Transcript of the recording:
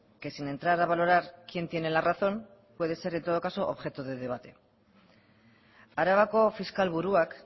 que sin entrar a valorar quién tiene la razón puede ser en todo caso objeto de debate arabako fiskal buruak